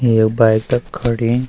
एक बाइक तख खड़ीं।